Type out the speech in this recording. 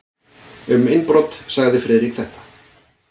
Um innbrot sagði Friðrik þetta: